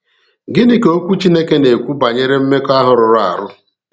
Gịnị ka Okwu Chineke na-ekwu banyere mmekọahụ rụrụ arụ?